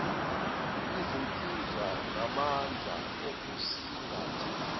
izinsiza namandla okusingatha